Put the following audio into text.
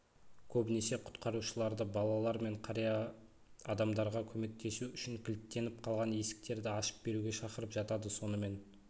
көбінесе құтқарушыларды балалар мен қария адамдарға көмектесу үшін кілттеніп қалған есіктерді ашып беруге шақырып жатады сонымен